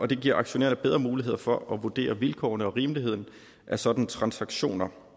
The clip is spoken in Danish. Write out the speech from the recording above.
det giver aktionærerne bedre mulighed for at vurdere vilkårene og rimeligheden af sådanne transaktioner